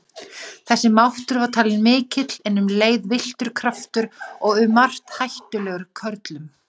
Þessi máttur var talinn mikill en um leið villtur kraftur og um margt hættulegur körlum.